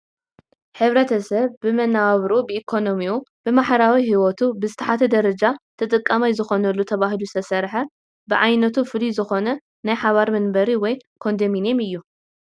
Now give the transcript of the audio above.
ሕብረተሰብ ብመነባብርኡ ብኢኮኖሚኡ ብማሕበራዊ ሂወቱ ብዝተሓተ ደረጃ ተጠቃማይ ዝኾነሉ ተባሂሉ ዝተሰርሐ ብዓይነቱ ፍሉይ ዝኾነ ናይ ሓባር መንበሪ ወይ ኮንዶሚንየም እዩ።